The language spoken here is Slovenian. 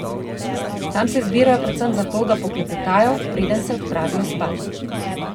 Tam se zbirajo predvsem zato, da poklepetajo, preden se odpravijo spat.